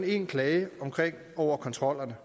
én klage over kontrollerne